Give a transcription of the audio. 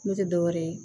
N'o tɛ dɔwɛrɛ ye